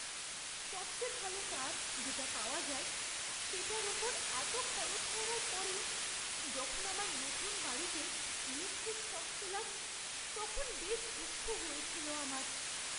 সবচেয়ে ভালো তার যেটা পাওয়া যায় সেটার ওপর এতো খরচ করার পরেও যখন আমার নতুন বাড়িতে ইলেকট্রিক শক খেলাম, তখন বেশ দুঃখ হয়েছিল আমার।